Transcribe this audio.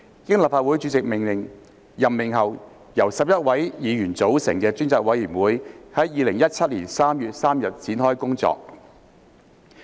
經立法會主席任命後，由11位議員組成的專責委員會於2017年3月3日展開工作。